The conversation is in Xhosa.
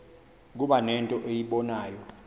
kuba nento eyibonayo